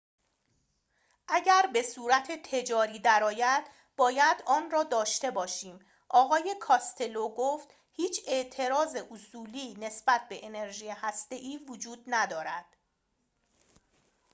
اگر به صورت تجاری درآید باید آن‌را داشته باشیم آقای کاستلو گفت هیچ اعتراض اصولی نسبت به انرژی هسته‌ای وجود ندارد